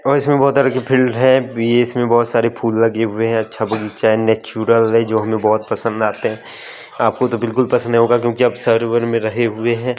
और इसमें बहोत तरह की है भी इसमें बहोत सारे फूल लगे हुए हैं अच्छा बगीचा है नेचुरल है जो हमें बहोत पसंद आते हैं आपको तो बिल्कुल पसंद नहीं होगा क्योंकि आप सर्वर में रहे हुए हैं।